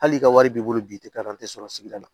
Hali ka wari b'i bolo bi i tɛ taa an tɛ sɔrɔ sigida la